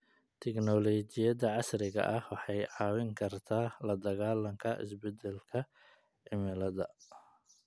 Teknoolojiyada casriga ah waxay caawin kartaa la dagaallanka isbedelka cimilada.